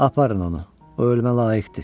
Aparın onu.